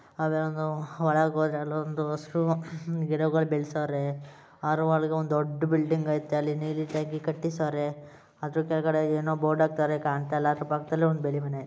ಅದ್ರಂಗ ಒಳಗೆ ಹೋದ್ರೆ ಒಂದು ಹಸ್ರು ಗಿಡಗಳು ಬೆಳ್ಸೋವ್ರೆ ಅದರ ಒಳಗಡೆ ಒಂದು ದೊಡ್ಡ ಬಿಲ್ಡಿಂಗ್ ಐತೆ ನೀಲಿ ಟ್ಯಾಂಕಿ ಕಟ್ಸವ್ರೆ ಅದರ ಕೆಳಗಡೆ ಏನು ಬೋರ್ಡು ಹಾಕ್ತವರೇ ಕಾಣ್ತಾ ಇಲ್ಲ ಪಕ್ಕದಲ್ಲಿ ಬಿಳಿ ಮನೆ.